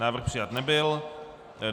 Návrh přijat nebyl.